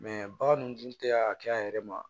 bagan dun tɛ a kɛ a yɛrɛ ma